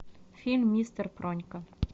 фильм мистер пронька